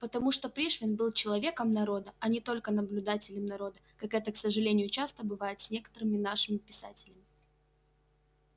потому что пришвин был человеком народа а не только наблюдателем народа как это к сожалению часто бывает с некоторыми нашими писателями